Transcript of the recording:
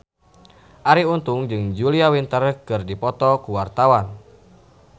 Arie Untung jeung Julia Winter keur dipoto ku wartawan